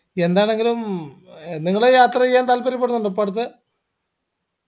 എന്താണെങ്കിലും നിങ്ങള് യാത്രെയ്യാൻ താല്പര്യപ്പെടുന്നുണ്ടോ ഇപ്പടുത്ത്